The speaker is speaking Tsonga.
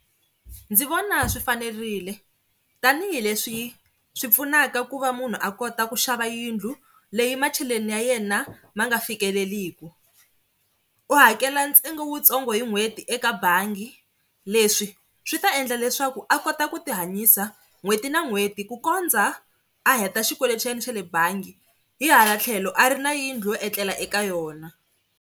Ndzi vona swi fanerile tanihileswi swi pfunaka ku va munhu a kota ku xava yindlu leyi macheleni ya yena ma nga fikeleliki. U hakela ntsengo wutsongo hi n'hweti eka bangi. Leswi swi ta endla leswaku a kota ku tihanyisa n'hweti na n'hweti ku kondza a heta xikweletini xa yena xa le bangi hi hala tlhelo a ri na yindlu yo etlela eka yona.